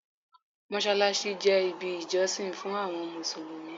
Mossalassi jẹ ibi ijosin fun awọn Musulumi